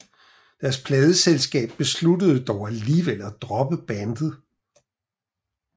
Deres pladeselskab besluttede dog alligevel at droppe bandet